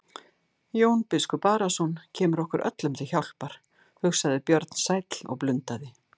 Jón biskup Arason kemur okkur öllum til hjálpar, hugsaði Björn sæll og blundaði.